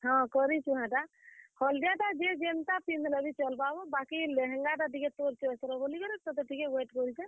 ହଁ, କରିଛୁଁ ହେଟା ହଲ୍ ଦିଆ ଟା ଯିଏ ଯେନ୍ ତାଟା ପିନ୍ଦଲେ ବି ଚଲ୍ ବା ହୋ। ବାକି ଲେହେଙ୍ଗା ଟା ଟିକେ ତୋର୍ choice ର ବୋଲିକରି ତେତେ ଟିକେ wait କରିଛେଁ।